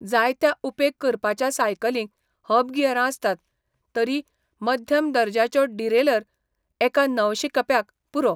जायत्या उपेग करपाच्या सायकलींक हब गियरां आसतात, तरी मध्यम दर्ज्याचो डिरेलर एका नवशिकप्याक पुरो.